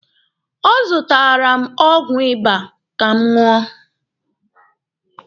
Ọ zụtaara m ọgwụ ịba ka m ṅụọ.